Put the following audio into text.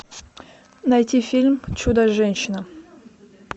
найти фильм чудо женщина